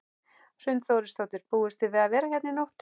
Hrund Þórsdóttir: Búist þið við að vera hérna í nótt?